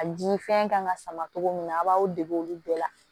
A di fɛn kan ka sama cogo min na a b'aw dege olu bɛɛ la